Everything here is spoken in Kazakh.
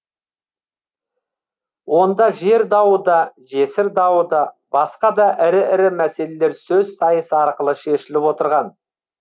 онда жер дауы да жесір дауы да басқа да ірі ірі мәселелер сөз сайысы арқылы шешіліп отырған